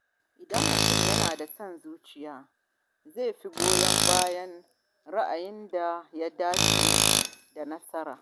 Idan mutum yana da son zuciya, zai fi goyon bayan ra’ayin da ya dace da nasa.